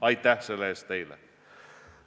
Aitäh teile selle eest!